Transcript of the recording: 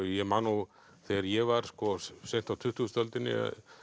ég man þegar ég var seint á tuttugustu öldinni